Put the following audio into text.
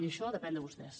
i això depèn de vostès